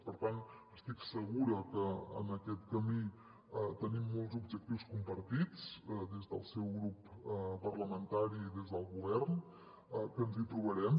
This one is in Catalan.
per tant estic segura que en aquest camí tenim molts objectius compartits des del seu grup parlamentari i des del govern que ens hi trobarem